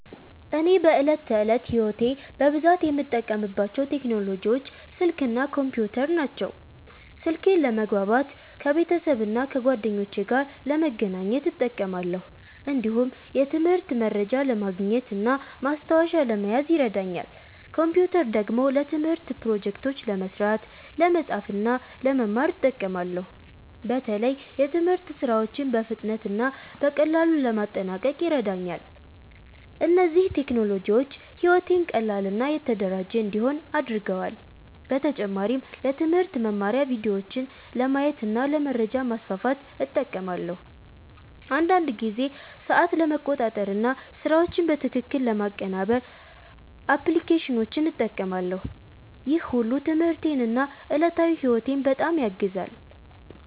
እኔ በዕለት ተዕለት ሕይወቴ በብዛት የምጠቀምባቸው ቴክኖሎጂዎች ስልክ እና ኮምፒውተር ናቸው። ስልኬን ለመግባባት ከቤተሰብና ከጓደኞቼ ጋር ለመገናኘት እጠቀማለሁ። እንዲሁም የትምህርት መረጃ ለማግኘት እና ማስታወሻ ለመያዝ ይረዳኛል። ኮምፒውተር ደግሞ ለትምህርት ፕሮጀክቶች ለመስራት፣ ለመጻፍ እና ለመማር እጠቀማለሁ። በተለይ የትምህርት ሥራዎችን በፍጥነት እና በቀላሉ ለማጠናቀቅ ይረዳኛል። እነዚህ ቴክኖሎጂዎች ሕይወቴን ቀላል እና የተደራጀ እንዲሆን አድርገዋል። በተጨማሪም ለትምህርት መማሪያ ቪዲዮዎችን ለማየት እና ለመረጃ ማስፋፋት እጠቀማለሁ። አንዳንድ ጊዜ ሰዓት ለመቆጣጠር እና ስራዎችን በትክክል ለማቀናበር አፕሊኬሽኖችን እጠቀማለሁ። ይህ ሁሉ ትምህርቴን እና ዕለታዊ ሕይወቴን በጣም ያግዛል።